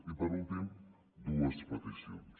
i per últim dues peticions